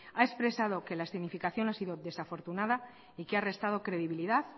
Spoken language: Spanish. ha expresado que la escenificación ha sido desafortunada y que ha restado credibilidad